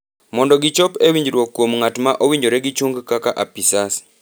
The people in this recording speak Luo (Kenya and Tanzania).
mondo gichop e winjruok kuom ng’at ma owinjore gichung’ kaka apisas